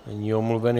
Není omluven.